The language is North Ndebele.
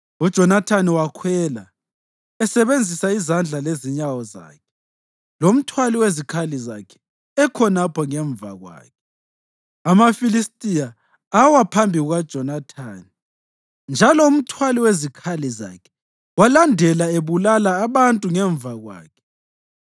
UJonathani wakhwela, esebenzisa izandla lezinyawo zakhe, lomthwali wezikhali zakhe ekhonapho ngemva kwakhe. AmaFilistiya awa phambi kukaJonathani, njalo umthwali wezikhali zakhe walandela ebulala abantu ngemva kwakhe.